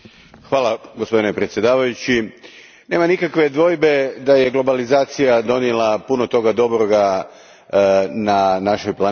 Gospodine predsjedniče, nema nikakve dvojbe da je globalizacija donijela puno toga dobroga na našoj planeti.